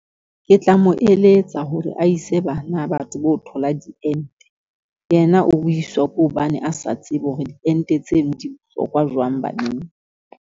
Ke tla mo eletsa hore a ise bana ba tsebe ho thola diente, yena o buiswa ke hobane a sa tsebe hore ditente tseno di bohlokwa jwang baneng.